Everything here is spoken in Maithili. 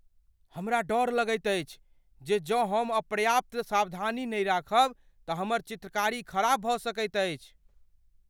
हमरा डर अछि जे जँ हम पर्याप्त सावधानी नहि राखब तँ हमर चित्रकारी खराब भऽ सकैत अछि।